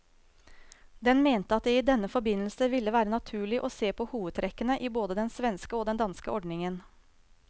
Den mente at det i denne forbindelse ville være naturlig å se på hovedtrekkene i både den svenske og den danske ordningen.